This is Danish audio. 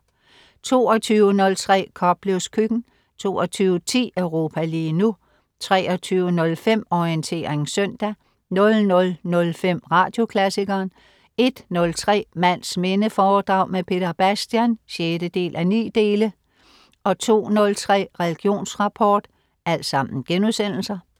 22.03 Koplevs Køkken* 22.10 Europa lige nu* 23.05 Orientering søndag* 00.05 Radioklassikeren* 01.03 Mands minde foredrag med Peter Bastian 6:9* 02.03 Religionsrapport*